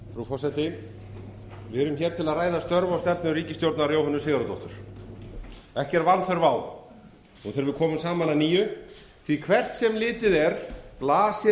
frú forseti við erum hér til að ræða störf og stefnu ríkisstjórnar jóhönnu sigurðardóttur ekki er vanþörf á nú þegar við komum saman að nýju því að hvert sem litið er blasir